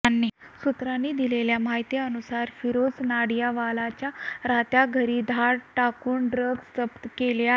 सुत्रांनी दिलेल्या माहितीनुसार फिरोझ नाडियाडवालाच्या राहत्या घरी धाड टाकून ड्रग्ज जप्त केले आहेत